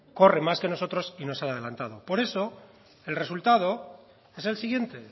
corren más que nosotros y nos han adelantado por eso el resultado es el siguiente